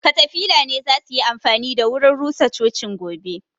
katafila ne zasuyi amfani da wurin rusa cocin gobe